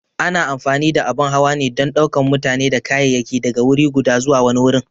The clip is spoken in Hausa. A na amfani da abun hawa ne don ɗaukan mutane da kayayyaki daga wuri guda zuwa wani wurin.